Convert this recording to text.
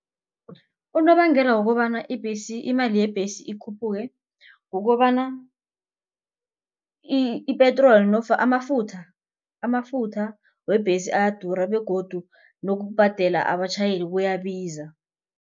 Unobangela wokobana ibhesi imali yebhesi ikhuphuke kukobana ipetroli amafutha amafutha webhesi ayadura begodu nokubhadela abatjhayeli kuyabiza.